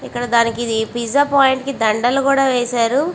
ఇక్కడ డానికి pizza point కి దండళ్ళు కూడా వేసారు.